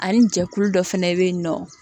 Ani jɛkulu dɔ fana bɛ yen nɔ